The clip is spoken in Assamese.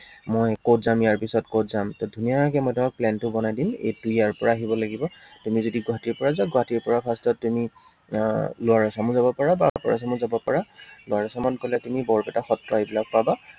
মই কত যাম, ইয়াৰ পিছত কত যাম। ত ধুনীয়াকে মই তোমাক plan টো বনাই দিম। এইটো ইয়াৰ পৰা আহিব লাগিব। তুমি যদি গুৱাহাটীৰ পৰা যোৱা গুৱাহাটীৰ পৰা first ত তুমি আহ Lower Assam ও যাব পাৰা বা Upper Assam ও যাব পাৰা। Lower Assam ত গলে তুমি বৰপেটা সত্ৰ এইবিলাক পাবা।